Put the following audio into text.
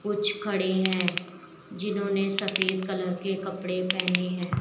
कुछ खड़े हैं जिन्होंने सफेद कलर के कपड़े पहने हैं।